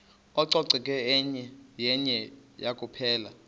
ucoceko yenye kuphela